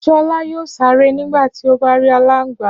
Ṣọlá yóò sáré nígbà tí ó bá rí aláǹgbá.